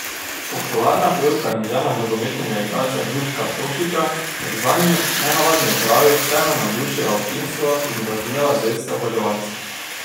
Popularna pevka in žena nogometnega igralca Duška Tošića je v zanjo nenavadni opravi vseeno navdušila občinstvo in razvnela zveste oboževalce.